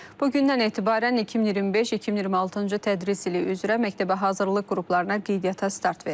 Bugündən etibarən 2025-2026-cı tədris ili üzrə məktəbə hazırlıq qruplarına qeydiyyata start verilir.